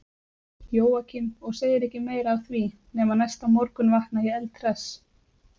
Jóakim, og segir ekki meira af því, nema næsta morgun vakna ég eldhress.